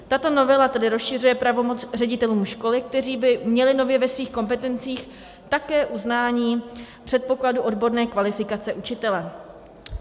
Tato novela tedy rozšiřuje pravomoc ředitelům školy, kteří by měli nově ve svých kompetencích také uznání předpokladu odborné kvalifikace učitele.